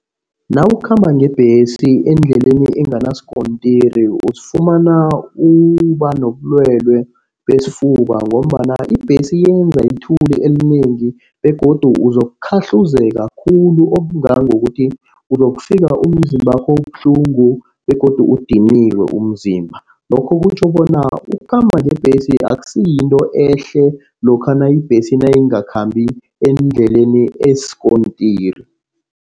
Nawukhamba ngebhesi endleleni enganasikontiri uzozifumana uba nobulwelwe besifuba, ngombana ibhesi yenza ithuli elinengi begodu uzokukhahluzeka khulu okungangokuthi uzokufika umzimbakho ubuhlungu begodu udiniwe umzimba. Lokhu kutjho bona ukukhamba ngebhesi akusiyinto ehle lokha ibhesi nayingakhambi endleleni esikontirini.